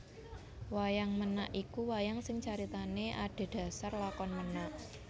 Wayang Ménak iku wayang sing caritané adhedhasar lakon ménak